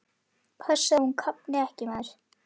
Passaðu að hún kafni ekki, maður!